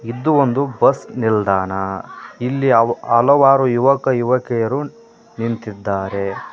ಇದ್ದು ಒಂದು ಬಸ್ ನಿಲ್ದಾಣ ಇಲ್ಲಿ ಹಲವಾರು ಯುವಕ ಯುವಕರು ನಿಂತಿದ್ದಾರೆ.